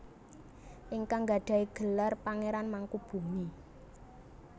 Ingkang nggadahi gelar Pangeran Mangkubumi